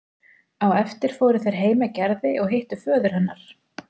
Á eftir fóru þeir heim með Gerði og hittu föður hennar.